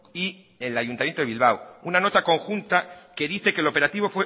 y el ayuntamiento de bilbao una nota conjunta que dice que el operativo